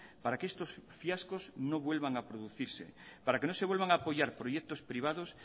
para que estos fiascos no vuelvan a producirse para que no se vuelvan a apoyar proyectos privados